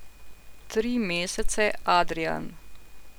Tri mesece, Adrijan.